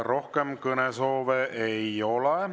Rohkem kõnesoove ei ole.